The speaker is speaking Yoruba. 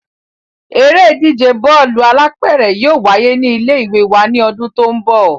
Eré ìdíje Bọ́ọ̀lù alápẹ̀rẹ̀ yóò wáyé ní ilé ìwé wa ní ọdún tó ń bọ̀